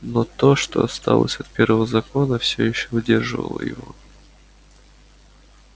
но то что осталось от первого закона всё ещё удерживало его